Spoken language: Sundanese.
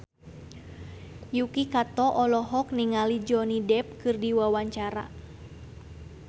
Yuki Kato olohok ningali Johnny Depp keur diwawancara